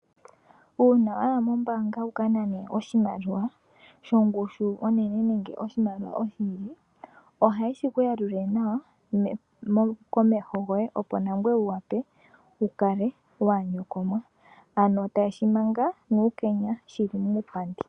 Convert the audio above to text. Uuna wayi mombaanga wuka nane oshimaliwa shongushu onene nenge oshimaliwa oshindji, oha yeshi ku yalulile nawa komeho goye opo nangweye wu wape wu kale inoonyokomwa. Ano ta yeshi manga nuukenya shili muupandi.